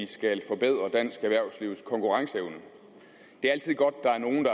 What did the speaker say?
skal forbedre dansk erhvervslivs konkurrenceevne det er altid godt